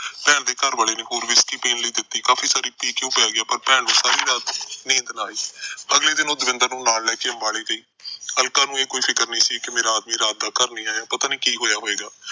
ਭੈਣ ਦੇ ਘਰ ਵਾਲੇ ਨੇ ਹੋਰ whisky ਪੀਣ ਲਈ ਦਿੱਤੀ। ਕਾਫੀ ਸਾਰੀ ਪੀ ਕੇ ਉਹ ਪੈ ਗਿਆ, ਪਰ ਭੈਣ ਨੂੰ ਸਾਰੀ ਰਾਤ ਨੀਂਦ ਨਾ ਆਈ। ਅਗਲੇ ਦਿਨ ਉਹ ਦਵਿੰਦਰ ਨੂੰ ਨਾਲ ਲੈ ਕੇ ਅੰਬਾਲੇ ਗਈ। ਅਲਕਾ ਨੂੰ ਕੋਈ ਫਿਕਰ ਨਹੀਂ ਸੀ ਕਿ ਰਾਤ ਦਾ ਮੇਰਾ ਆਦਮੀ ਘਰ ਨੀ ਆਇਆ, ਪਤਾ ਨੀ ਕੀ ਹੋਇਆ ਹੋਵੇਗਾ।